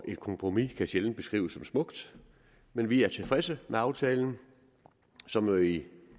et kompromis kan sjældent beskrives som smukt men vi er tilfredse med aftalen som jo i